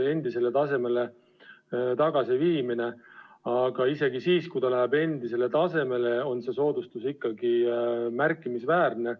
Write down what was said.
Aga isegi siis, kui aktsiis läheb endisele tasemele, on see soodustus ikkagi märkimisväärne.